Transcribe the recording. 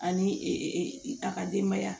Ani a ka denbaya